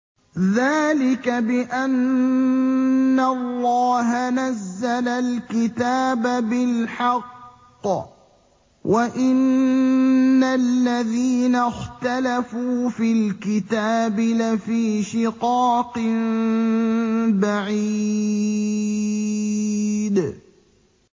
ذَٰلِكَ بِأَنَّ اللَّهَ نَزَّلَ الْكِتَابَ بِالْحَقِّ ۗ وَإِنَّ الَّذِينَ اخْتَلَفُوا فِي الْكِتَابِ لَفِي شِقَاقٍ بَعِيدٍ